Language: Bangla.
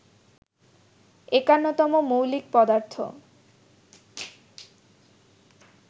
৫১ তম মৌলিক পদার্থ